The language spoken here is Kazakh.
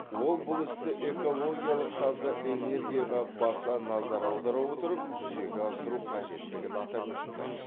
ол бұл істі экологиялық таза энергияға баса назар аудара отырып жүзеге асыру қажеттігін атап өтті